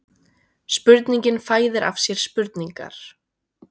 Spurningin fæðir af sér spurningar